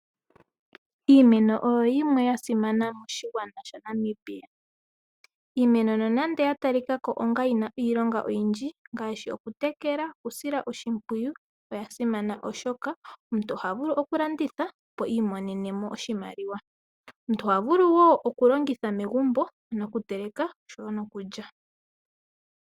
Iimeno oyo yimwe ya simana moshigwana shaNamibia. Iimeno nonando ya talikako yina iilonga oyindji ngaashi okutekela, okusila oshimpwiyu, oya simana oshoka omuntu oha vulu okulanditha, opo i imonene mo oshimaliwa. Omuntu oha vulu wo okulongitha megumbo okuteleka nokulya.